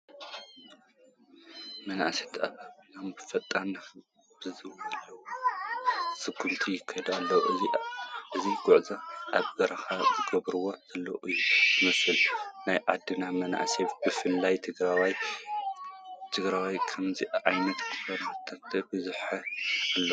መናእሰይ ተኣቢቦም ፍጥነት ብዝለዎ ስጉምቲ ይኸዱ ኣለዉ፡፡ እዚ ጉዕዞ ኣብ በረኻ ዝግበር ዘሎ እዩ ዝመስል፡፡ ናይ ዓድና መንእሰይ ብፍላይ ትግራዋይ ከምዚ ዓይነት ከርተት በዚሕዎ ኣሎ፡፡